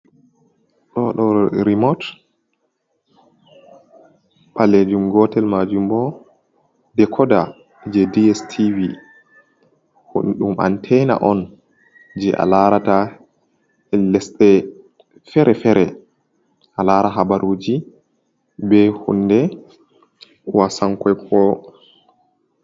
Ɗooɗoo "rimut" ɓaleejum, gootel maajum bo "dekoda" jey "DSTV" ɗum "anteena" on jey a laarata lesɗe feere-feere a laara habaruuji bee hunnde "waasan koykoyo".